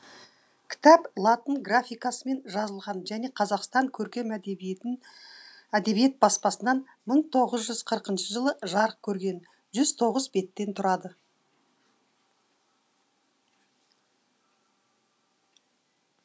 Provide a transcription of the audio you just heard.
кітап латын графикасымен жазылған және қазақстан көркем әдебиет баспасынан мың тоғыз жүз қырықыншы жылы жарық көрген жүз тоғыз беттен тұрады